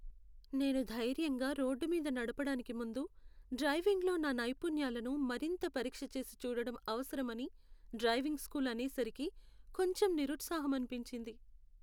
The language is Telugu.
నేను ధైర్యంగా రోడ్డు మీద నడపడానికి ముందు, డ్రైవింగ్లో నా నైపుణ్యాలను మరింత పరీక్షచేసి చూడడం అవసరమని, డ్రైవింగ్ స్కూల్ అనేసరికి కొంచెం నిరుత్సాహమనిపించింది.